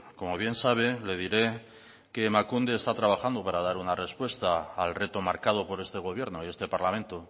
como bien sabe le diré que emakunde está trabajando para dar una respuesta al reto marcado por este gobierno y este parlamento